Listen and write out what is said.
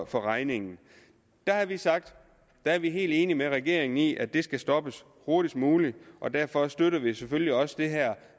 for regningen der har vi sagt at vi er helt enige med regeringen i at det skal stoppes hurtigst muligt og derfor støtter vi selvfølgelig også det her